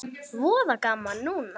Voða gaman núna.